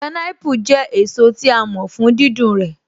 Pineapple jẹ́ èso tí a mọ̀ fún dídùn rẹ̀